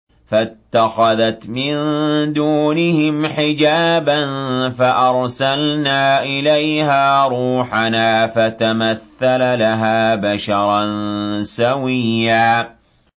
فَاتَّخَذَتْ مِن دُونِهِمْ حِجَابًا فَأَرْسَلْنَا إِلَيْهَا رُوحَنَا فَتَمَثَّلَ لَهَا بَشَرًا سَوِيًّا